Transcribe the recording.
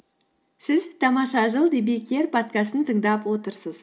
сіз тамаша жыл подкастын тыңдап отырсыз